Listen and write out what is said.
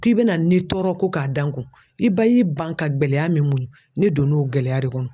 K'i bɛna n nin tɔɔrɔ ko k'a dan n kun i ba y'i ban ka gɛlɛya min muɲu ne donna o gɛlɛya de kɔnɔ.